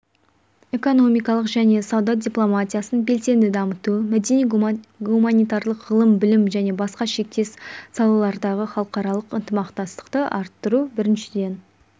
экономикалық және сауда дипломатиясын белсенді дамыту мәдени-гуманитарлық ғылым-білім және басқа шектес салалардағы халықаралық ынтымақтастықты арттыру біріншіден